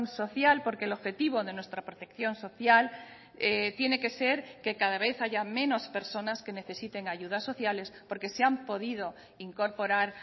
social porque el objetivo de nuestra protección social tiene que ser que cada vez haya menos personas que necesiten ayudas sociales porque se han podido incorporar